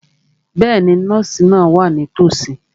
Bẹ́ẹ̀ni, nọ́ọ̀sì náà wà nítòsí.